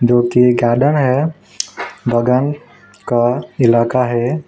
जो कि गार्डन है बागान का इलाका है।